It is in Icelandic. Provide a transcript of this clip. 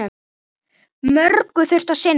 Mörgu þurfti að sinna.